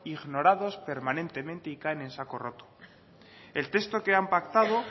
ignorados permanentemente y caen en saco roto el texto que han pactado